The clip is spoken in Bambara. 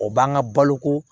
O b'an ka balo ko